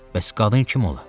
Bəs qadın kim ola?